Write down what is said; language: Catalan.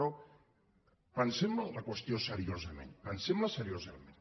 però pensem la qüestió seriosament pensem la seriosament